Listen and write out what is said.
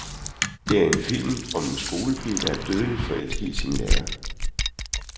Det er en film om en skolepige, der er dødeligt forelsket i sin lærer.